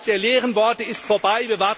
Die Zeit der leeren Worte ist vorbei.